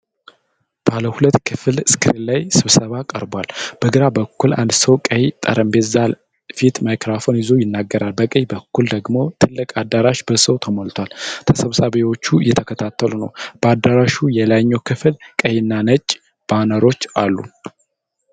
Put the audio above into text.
ባለ ሁለት ክፍል ስክሪን ላይ ስብሰባ ቀርቧል። በግራ በኩል አንድ ሰው ቀይ ጠረጴዛ ፊት ማይክራፎን ይዞ ይናገራል። በቀኝ በኩል ደግሞ ትልቅ አዳራሽ በሰው ተሞልቶአል። ተሰብሳቢዎቹ እየተከታተሉ ነው። በአዳራሹ የላይኛው ክፍል ቀይ እና ነጭ ባነሮች አሉ።